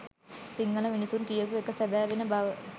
සිංහල මිනිසුන් කියපු එක සැබෑවෙන බව.